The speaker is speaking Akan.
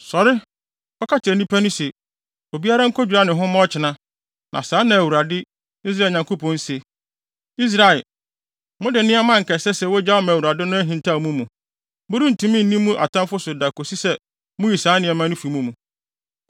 “Sɔre! Kɔka kyerɛ nnipa no se, ‘Obiara nkodwira ne ho mma ɔkyena, na saa na Awurade, Israel Nyankopɔn se: Israel, mode nneɛma a anka ɛsɛ sɛ wogyaw ma Awurade no ahintaw mo mu. Morentumi nni mo atamfo so da kosi sɛ muyi saa nneɛma no fi mo mu.